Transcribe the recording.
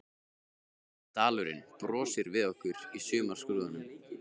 Grænn dalurinn brosir við okkur í sumarskrúðanum.